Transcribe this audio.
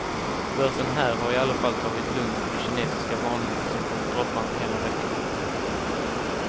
Börsen här har i alla fall tagit lugnt på de kinesiska varningarna som kommit droppande hela veckan.